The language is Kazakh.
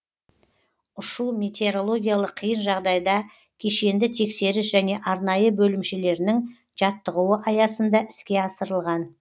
ұшу метеорологиялық қиын жағдайда кешенді тексеріс және арнайы бөлімшелерінің жаттығуы аясында іске асырылған